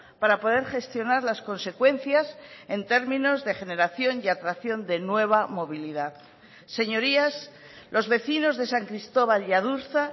para poder gestionar las consecuencias en términos de generación y atracción de nueva movilidad señorías los vecinos de san cristóbal y adurza